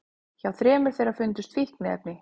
Hjá þremur þeirra fundust fíkniefni